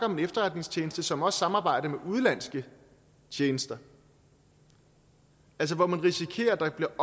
om en efterretningstjeneste som også samarbejder med udenlandske tjenester altså man risikerer at der